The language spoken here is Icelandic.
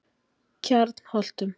Kjarnholtum